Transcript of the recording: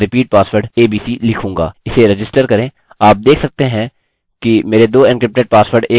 आप देख सकते हैं कि मेरे 2 एन्क्रिप्टेड पासवर्ड एक जैसे हैं और दोनों डेटाबेस में रखने के लिए तैयार हैं